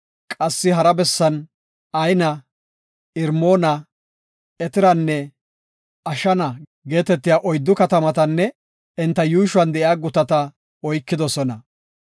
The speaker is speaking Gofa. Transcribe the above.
Qassi hara bessan Ayna, Irmoona, Eteranne Ashana geetetiya oyddu katamatanne enta yuushuwan de7iya gutata oykidosona.